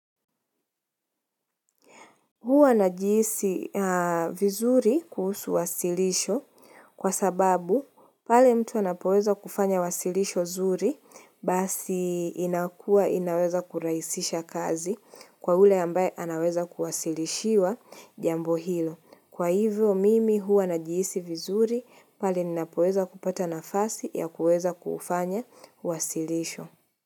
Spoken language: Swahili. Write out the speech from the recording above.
Huwa ninajihisi vizuri kuhusu wasilisho kwa sababu pale mtu anapoweza kufanya wasilisho zuri basi inakuwa inaweza kurahisisha kazi kwa ule ambaye anaweza kuwasilishiwa jambo hilo. Kwa hivyo mimi huwa najihisi vizuri pale ninapoweza kupata nafasi ya kuweza kufanya wasilisho.